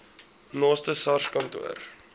naaste sars kantoor